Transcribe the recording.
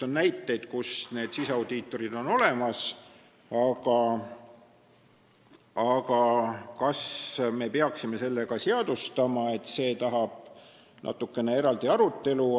On näiteid, kui need siseaudiitorid on olemas, aga kas me peaksime selle ka seadustama, see tahab natuke eraldi arutelu.